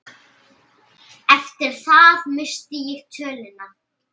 Eftir það missti ég töluna.